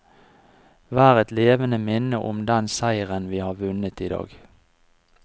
Vær et levende minne om den seiren vi har vunnet i dag.